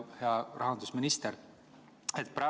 Hea rahandusminister!